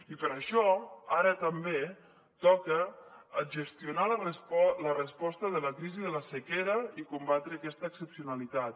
i per això ara també toca gestionar la resposta de la crisi de la sequera i combatre aquesta excepcionalitat